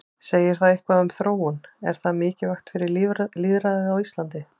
Segir það eitthvað um þróun, er það mikilvægt fyrir lýðræðið á Íslandi?